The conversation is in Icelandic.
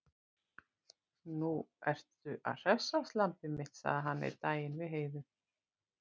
Nú ertu að hressast, lambið mitt, sagði hann einn daginn við Heiðu.